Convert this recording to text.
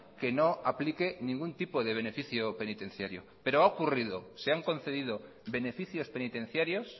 que no aplique ningún tipo de beneficio penitenciario pero ha ocurrido se han concedido beneficios penitenciarios